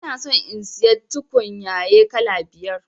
Ina son in siya tukunyaye kala biyar